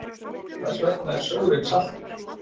Hvers vegna er sjórinn saltur?